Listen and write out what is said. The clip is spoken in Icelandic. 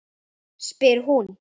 spyr hún.